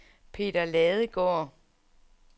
Peter Ladegaard